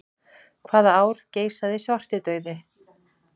Hvaða ár geisaði svartidauði?